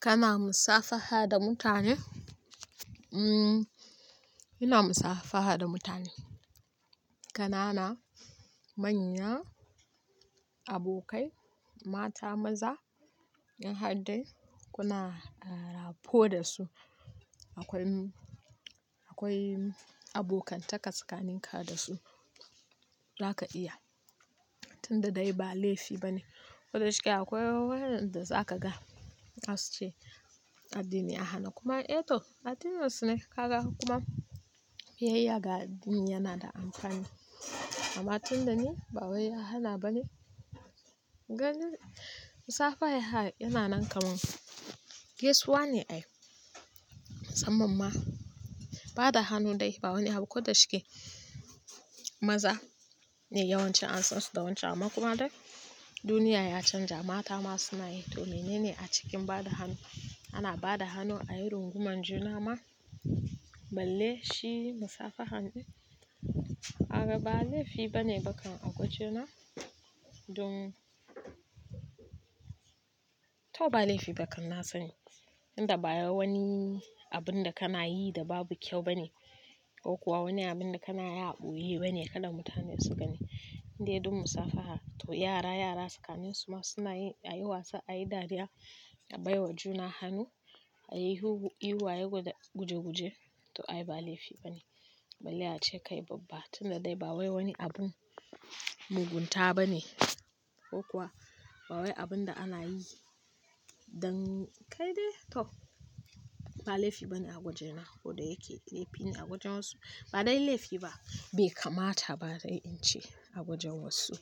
Kana musafaha da mutane? Umm, ina musafaha da mutane. Kanana, manya, abokai, mata, maza in har dai kuna, ah, rapo da su. Akwai, akwai abokantaka tsakininka da su zaka iya. Tunda dai ba laifi bane. Koda shike akwai wayoyin da zaka ga za su ce addini ya hana kuma, eh toh addininasune kaga kuma biyayya ga addini yana da amfani. Amma tunda ni ba wai ya hana ba ne. Gani musafaha yana nan kamar. Gaisuwa ne ai? Musamman ma ba da hannu dai ba wani abu. Koda shike maza ne yawanci an san su da wancan amma kuma dai duniya ya canja mata ma suna yi toh menene a cikin ba da hannu. Ana ba da hannu a yi runguman juna ma. Balle shi musafaha ne. Ka gan ba laifi bane ba kam a waje na. Don toh ba laifi ba kam na sani. Tunda ba wani abun da kana yi da babu kyau bane. Ko kuwa wani abun da kana yi a ɓoye bane kada mutane su gani. In dai dun musafaha toh yara, yara tsakanin su ma suna yi a yi wasa, a yi dariya, a baiwa juna hannu, a yi ihu, ihu, guje-guje toh ai ba laifi bane. Balle ace kai babba tunda dai ba wai wani abun mugunta ba ne ko kuwa ba wai abun da ana yi dan kai dai toh ba laifi bane a waje na. Koda yake laifi ne a wajen wasu. Ba dai laifi ba bai kamata ba dai in ce a wajen wasu.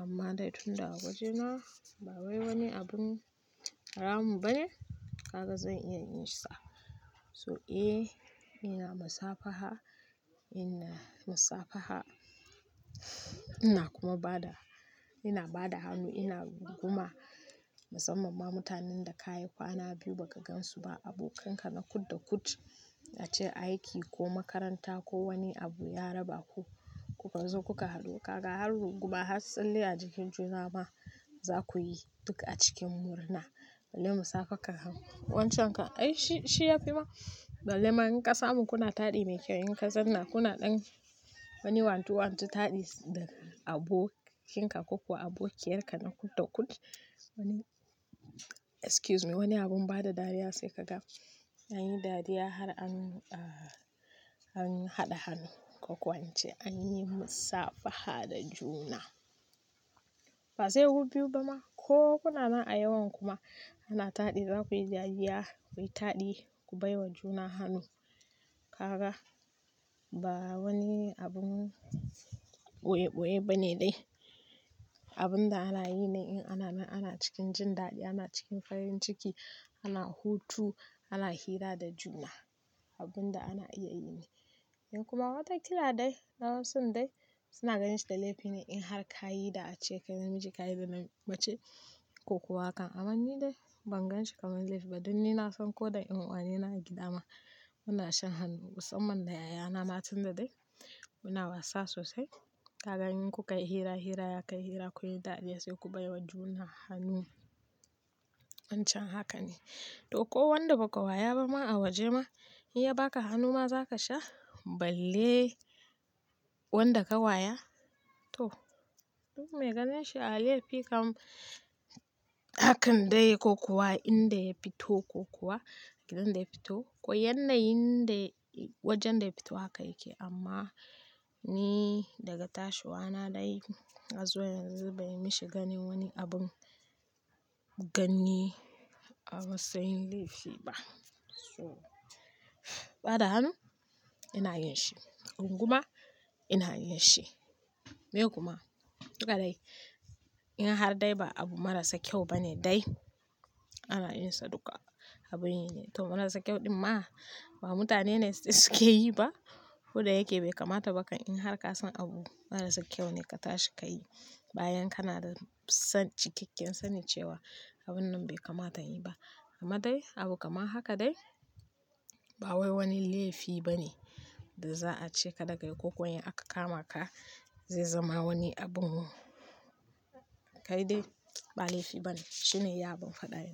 Amma dai tunda a waje na ba wai wani abun haramu ba ne kaga zan iya yin sa. So eh ina musafaha, ina musafaha ina kuma bada, ina bada hannu, ina runguma musamman ma mutanen da ka yi kwana biyu ba ka gansu ba abokanka na kud da kud a ce aiki ko makaranta ko wani abu ya raba ku kuka zo kuka haɗu kaga har runguma har tsalle a jikin juna ma za ku yi duk a cikin murna. Balle musafaha kagan wancen ka ai shi, shi yafi ma. Balle ma in ka samun kuna taɗi mai kyau in ka zauna kuna dan wani wantu wantu taɗi da abokinka ko kuwa abokiyarka na kud da kud. Wani, excuse me wani abun bada dariya sai ka ga anyi dariya har an, ah, an haɗa hannu ko kuwa in ce anyi musafaha da juna. Ba sai ku biyu ba ma ko kuna nan a yawan ku ma ana taɗi za ku yi dariya ku yi taɗi ku baiwa juna hannu. Kaga ba wani abun ɓoye-ɓoye ba ne dai. Abun da ana yi ne in ana nan ana cikin jin daɗi, ana cikin farin ciki, ana hutu, ana hira da juna. Abun da ana iya yi ne. In kuma watakila dai na wasun dai suna ganin shi da laifi ne in har ka yi da ace kai namiji ka yi da mace ko kuwa haka amma ni dai ban gan shi kaman laifi ba dun ni na san ko da 'yan'uwane na a gida ma muna shan hannu musamman da yayana ma tunda dai muna wasa sosai. Kaga in ku ka yi hira hira ya kai hira kun yi dariya sai ku baiwa juna hannu. Wancan haka ne. Toh ko wanda ba ka waya ba ma a waje ma in ya baka hannu ma za ka sha balle wanda ka waya? Toh duk me ganin shi a laifi kam hakan dai ko kuwa inda ya fito ko kuwa gidan da ya fito. Ko yannayin da wajen da ya fito haka yake amma ni daga tashiwa na dai har zuwa yanzu bai mishi ganin wani abun ganni amatsain laifi ba. So ba da hannu ina yin shi. Runguma ina yin shi. Meye kuma duka dai in har dai ba abu marasa kyau bane dai ana yin sa duka. Abun yi ne toh marasa kyau din ma ba mutane ne suke yi ba. Koda yake bai kamata bakan in har ka san abu marasa kyau ne ka tashi ka yi bayan kana da san cikakken sani cewa abun nan bai kamata in yi ba. Amma dai abu kamar haka dai ba wai wani laifi bane da za a ce kada ka yi ko kuwa in aka kamaka zai zama wani abun kai dai ba laifi bane. Shine ya abun faɗa yake.